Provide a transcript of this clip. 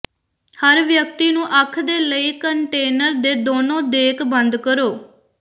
ਹਰ ਵਿਅਕਤੀ ਨੂੰ ਅੱਖ ਦੇ ਲਈ ਕੰਟੇਨਰ ਦੇ ਦੋਨੋ ਦੇਕ ਬੰਦ ਕਰੋ